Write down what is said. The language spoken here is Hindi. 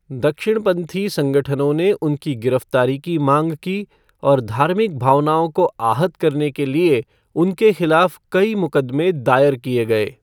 दक्षिणपंथी संगठनों ने उनकी गिरफ्तारी की मांग की, और धार्मिक भावनाओं को आहत करने के लिए उनके खिलाफ कई मुकदमे दायर किए गए।